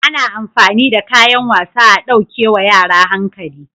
Ana amfani da kayan wasa a ɗauke wa yara hankali